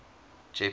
jeppes